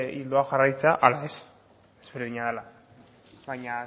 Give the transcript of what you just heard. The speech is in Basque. ildoa jarraitzea ala ez ezberdina dena baina